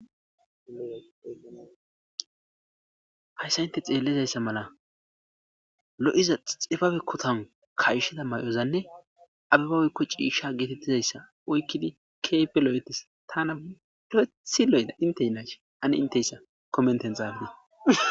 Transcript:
hayssa inte xeellizayssa mala lo7iza xifabe kotan kayshida may7ozanne abibawy woyko ciisha geetettizayssa oykkidi keehipe lo7etes tana perethi loyeda inte yinashi ane inteyssa komenten xaafite.